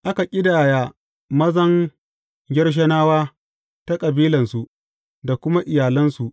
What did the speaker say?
Aka ƙidaya mazan Gershonawa ta kabilansu da kuma iyalansu.